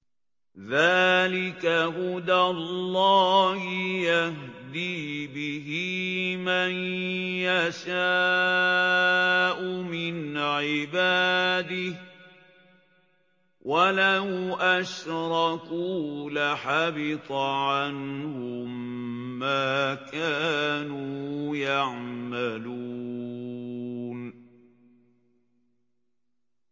ذَٰلِكَ هُدَى اللَّهِ يَهْدِي بِهِ مَن يَشَاءُ مِنْ عِبَادِهِ ۚ وَلَوْ أَشْرَكُوا لَحَبِطَ عَنْهُم مَّا كَانُوا يَعْمَلُونَ